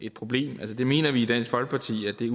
et problem vi mener i dansk folkeparti at det